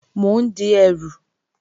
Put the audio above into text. Mò ń di ẹrù